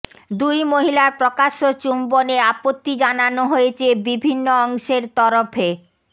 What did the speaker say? দুই মহিলার প্রকাশ্য চুম্বনে আপত্তি জানানো হয়েছে বিভিন্ন অংশের তরফে